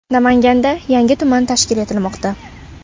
Namanganda yangi tuman tashkil etilmoqda.